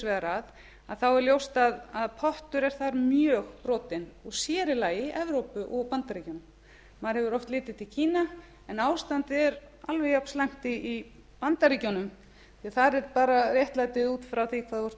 vegar að þá er ljóst að pottur er þar mjög brotinn og sér í lagi evrópu og bandaríkjanna maður hefur oft litið til kína en ástandið er alveg jafnslæmt í bandaríkjunum því þar er bara réttlætið út frá því hvað þú ert